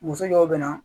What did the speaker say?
Muso dɔw bɛ na